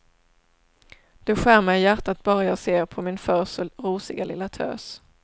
Det skär mig i hjärtat bara jag ser på min förr så rosiga lilla tös.